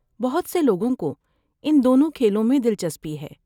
بہت سے لوگوں کو ان دونوں کھیلوں میں دلچسپی ہے۔